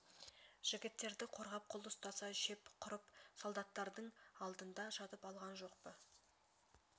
жігіттерді қорғап қол ұстаса шеп құрып солдаттардың алдында жатып алған жоқ па